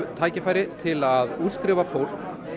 tækifæri til að útskrifa fólk